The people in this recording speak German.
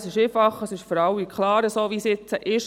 Es sei einfach, es sei für alle klar, wie es jetzt sei.